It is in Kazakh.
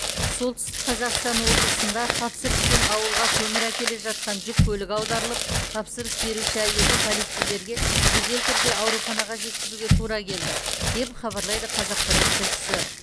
солтүстік қазақстан облысында тапсырыспен ауылға көмір әкеле жатқан жүк көлігі аударылып тапсырыс беруші әйелді полицейлерге жедел түрде ауруханаға жеткізуге тура келді деп хабарлайды қазақпарат тілшісі